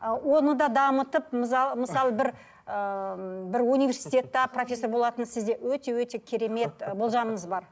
ы оны да дамытып мысалы бір ыыы бір универститетте профессор болатын сізде өте өте керемет ы болжамыңыз бар